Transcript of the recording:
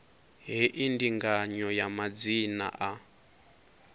hei ndinganyo ya madzina a